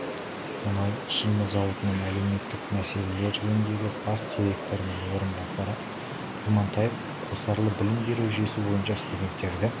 мұнай-химия зауытының әлеуметтік мәселелер жөніндегі бас директорының орынбасары имантаева қосарлы білім беру жүйесі бойынша студенттерді